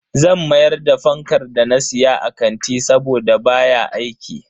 Zan mayar da fankar da na siya a kanti saboda baya aiki.